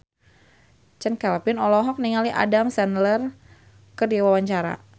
Chand Kelvin olohok ningali Adam Sandler keur diwawancara